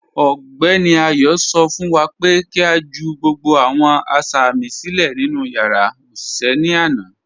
Ọgbẹní Ayọ̀ sọ fún wá pé kí a jù gbogbo awọn asámì silẹ̀ nínu yàrá oṣiṣẹ̀ ní àna.